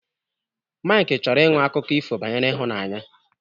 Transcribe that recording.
Maịk chọrọ ịṅụ akụkọ ifo banyere ịhụnanya